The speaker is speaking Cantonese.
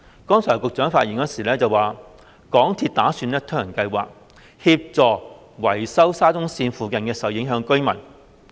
剛才局長發言時指港鐵公司打算推行一項計劃，協助維修沙中線附近受影響的民居。